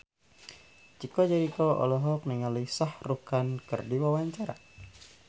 Chico Jericho olohok ningali Shah Rukh Khan keur diwawancara